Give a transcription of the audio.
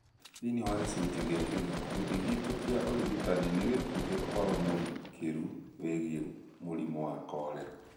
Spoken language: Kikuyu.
Thĩinĩ wa gĩcunjĩ gĩkĩ, gĩkundi gitũ kĩa ũrigitani nĩ gĩkũhe ũhoro mũrikĩru wĩgiĩ mũrimũ wa korera.